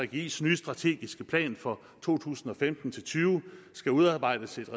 gggis nye strategiske plan for to tusind og femten til tyve skal udarbejdes